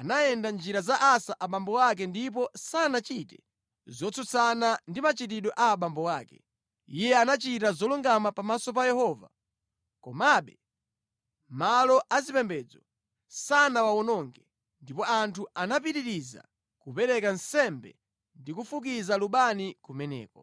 anayenda mʼnjira za Asa abambo ake ndipo sanachite zotsutsana ndi machitidwe a abambo ake. Iye anachita zolungama pamaso pa Yehova. Komabe, malo azipembedzo sanawawononge, ndipo anthu anapitiriza kupereka nsembe ndi kufukiza lubani kumeneko.